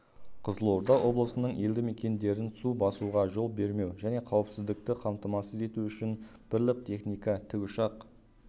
қызылорда облысының елді мекендерін су басуға жол бермеу және қауіпсіздікті қамтамасыз ету үшін бірлік техника тікұшақ